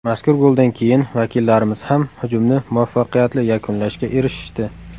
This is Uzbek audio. Mazkur goldan keyin vakillarimiz ham hujumni muvaffaqiyatli yakunlashga erishishdi.